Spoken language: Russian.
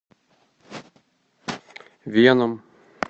веном